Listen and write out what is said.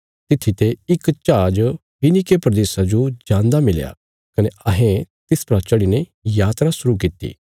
तित्थी ते इक जहाज फीनीके प्रदेशा जो जान्दा मिलया कने अहें तिस परा चढ़ीने यात्रा शुरु कित्ती